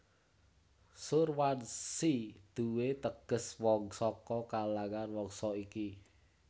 Surwanshi duwé teges wong saka kalangan wangsa iki